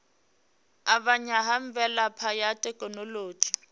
avhanya ha mvelaphana ya thekhinolodzhi